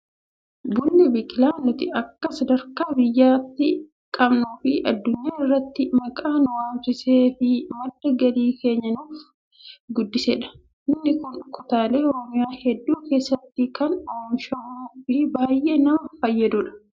Bunni biqilaa nuti akka sadarkaa biyyaatti qabnuu fi addunyaa irratti maqaa nu waamsisee fi madda galii keenya kan nuuf guddisedha. Bunni kun kutaalee oromiyaa hedduu keessatti kan oomishamuu fi baay'ee nama fayyadudha.